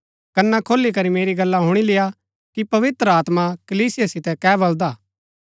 कना खोली करी मेरी गल्ला हुणी लेय्आ कि पवित्र आत्मा कलीसिया सीतै कै बलदा हा